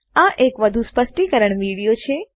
આ એક વધુ સ્પષ્ટીકરણ વિડીયો છે